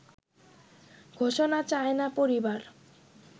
ঘোষণা চায় না পরিবার